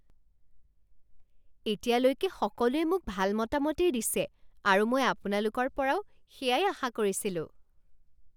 এতিয়ালৈকে সকলোৱে মোক ভাল মতামতেই দিছে আৰু মই আপোনালোকৰ পৰাও সেয়াই আশা কৰিছিলোঁ।